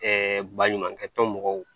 baɲumankɛ tɔn mɔgɔw